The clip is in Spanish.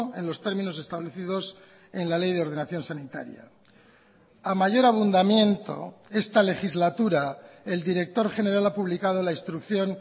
en los términos establecidos en la ley de ordenación sanitaria a mayor abundamiento esta legislatura el director general ha publicado la instrucción